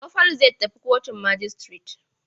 Gobe Falalu zai tafi kotun majistire.